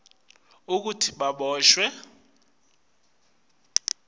kutsi baboshwe ngekulandzela